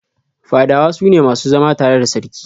Fadawa su ne masu zama tare da Sarki.